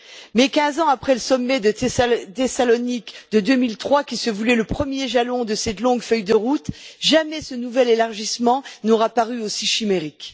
Mais, quinze ans après le sommet de Thessalonique de 2003 qui se voulait le premier jalon de cette longue feuille de route, jamais ce nouvel élargissement n'aura paru aussi chimérique.